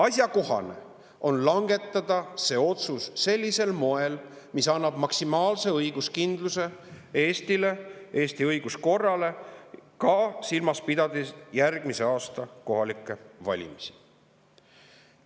Asjakohane on langetada see otsus sellisel moel, mis annab maksimaalse õiguskindluse Eestile, Eesti õiguskorrale, pidades silmas ka järgmise aasta kohalikke valimisi.